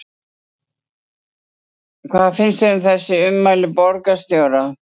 Helga Arnardóttir: Hvað finnst þér um þessi ummæli borgarstjóra?